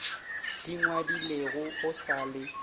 di ngwadilego go sa le